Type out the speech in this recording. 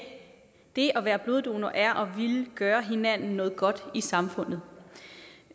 det at være bloddonor er at ville gøre hinanden noget godt i samfundet